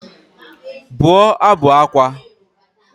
Bụọ ábụ̀ ákwá!